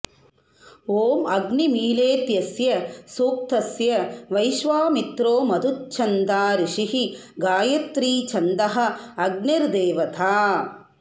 ॐ अग्निमीळेत्यस्य सूक्तस्य वैश्वामित्रोमधुच्छन्दा ऋषिः गायत्री छन्दः अग्निर्देवता